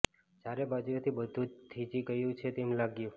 ચારે બાજુએથી બધું જ થીજી ગયું છે તેમ લાગ્યું